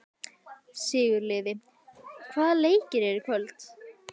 Sigurliði, hvaða leikir eru í kvöld?